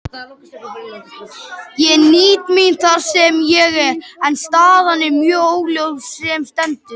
Ég nýt mín þar sem ég er, en staðan er mjög óljós sem stendur.